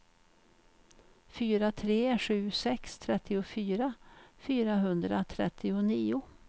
fyra tre sju sex trettiofyra fyrahundratrettionio